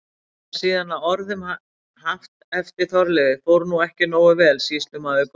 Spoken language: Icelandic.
Er það síðan að orðum haft eftir Þorleifi: Fór nú ekki nógu vel, sýslumaður góður?